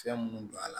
Fɛn munnu don a la